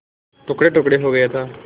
टुकड़ेटुकड़े हो गया था